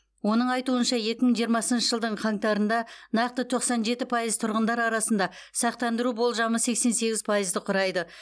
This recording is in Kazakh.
оның айтуынша екі мың жиырмасыншы жылдың қаңтарында нақты тоқсан жеті пайыз тұрғындар арасында сақтандыру болжамы сексен сегіз пайызды құрайды